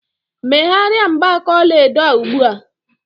Megharịa mgbaaka ọla edo a ugbu a!